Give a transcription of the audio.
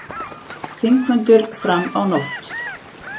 Þingfundur fram á nótt